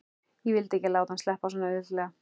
Ég vildi ekki láta hann sleppa svona auðveldlega.